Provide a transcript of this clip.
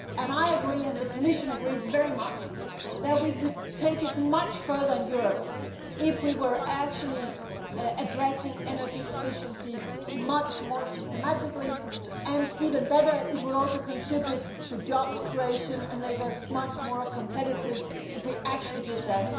I agree, and the Commission is also in full agreement, that we could take it much further in Europe if we were actually addressing energy efficiency much more systematically. Even better, it would also contribute to job creation and make us much more competitive if we actually did